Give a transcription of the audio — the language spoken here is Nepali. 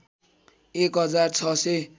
एक हजार ६००